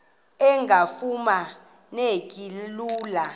engafuma neki lula